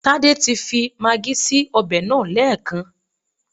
Tádé ti fi magí sí ọbẹ̀ náà lẹ́ẹ̀kan